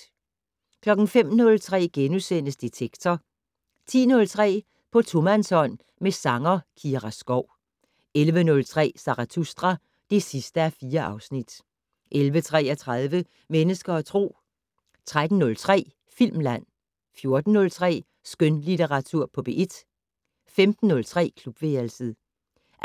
05:03: Detektor * 10:03: På tomandshånd med sanger Kira Skov 11:03: Zarathustra (4:4) 11:33: Mennesker og Tro 13:03: Filmland 14:03: Skønlitteratur på P1 15:03: Klubværelset 18:25: